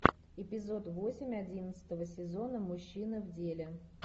эпизод восемь одиннадцатого сезона мужчины в деле